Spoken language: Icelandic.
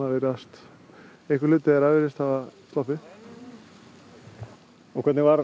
virðast eða einhver hluti þeirra virðist hafa sloppið og hvernig varð